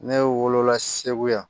Ne wolo la segu yan